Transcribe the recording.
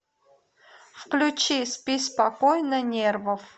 включи спи спокойно нервов